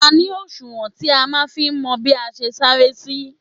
A ní òṣùwọ̀n *tí a máa ń fi mọ bí a ṣe sanra sí.